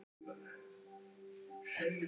Mér finnst þetta ómakleg gagnrýni